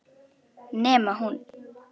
Nema hún.